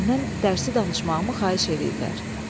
Məndən dərsi danışmağımı xahiş eləyirlər.